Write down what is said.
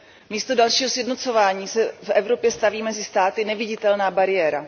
Místo dalšího sjednocování se v Evropě staví mezi státy neviditelná bariéra.